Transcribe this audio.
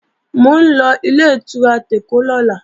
Mò ń lọ Ilé-ìtura tèkó lọ́la